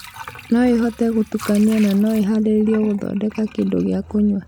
noĩhote gũtukanio nanĩharĩrĩrio gũthondeka kĩndũ gĩa kũnyua